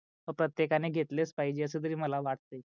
प्रतेकांणे घेतलेच पाहिजे अस तरी मला वाटते.